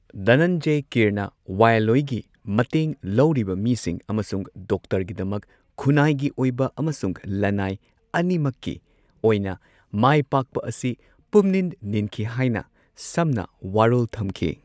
ꯙꯅꯟꯖꯦ ꯀꯤꯔꯅ ꯋꯥꯌꯦꯜꯂꯣꯏꯒꯤ ꯃꯇꯦꯡ ꯂꯧꯔꯤꯕ ꯃꯤꯁꯤꯡ ꯑꯃꯁꯨꯡ ꯗꯣꯛꯇꯔꯒꯤꯗꯃꯛ ꯈꯨꯟꯅꯥꯏꯒꯤ ꯑꯣꯏꯕ ꯑꯃꯁꯨꯡ ꯂꯅꯥꯏ ꯑꯅꯤꯃꯛꯀꯤ ꯑꯣꯏꯅ ꯃꯥꯏꯄꯥꯛꯄ ꯑꯁꯤ ꯄꯨꯝꯅꯤꯟ ꯅꯤꯟꯈꯤ ꯍꯥꯏꯅ ꯁꯝꯅ ꯋꯥꯔꯣꯜ ꯊꯝꯈꯤ꯫